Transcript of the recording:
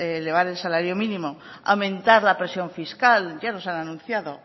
elevar el salario mínimo aumentar la presión fiscal ya nos han anunciado